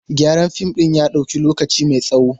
Gyaran fim ɗin ya ɗauki lokaci mai tsawo.